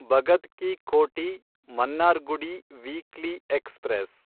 Bhagat ki Kothi Mannargudi weekly express